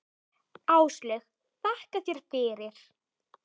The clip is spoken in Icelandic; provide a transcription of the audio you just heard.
Áslaug: Þakka þér fyrir.